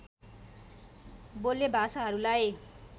बोल्ने भाषाहरूलाई